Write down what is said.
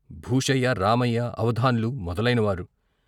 భూషయ్య, రామయ్య, అవధాన్లు మొదలైనవారు.